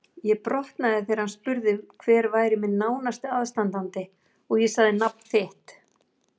Ég brotnaði þegar hann spurði hver væri minn nánasti aðstandandi og ég sagði nafn þitt.